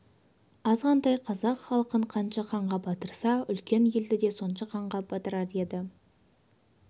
азғантай қазақ халқын қанша қанға батырса үлкен елді де сонша қанға батырар еді